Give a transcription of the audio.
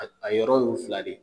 A yɔrɔ y'o fila de ye.